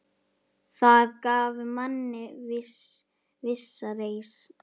Það gaf manni vissa reisn.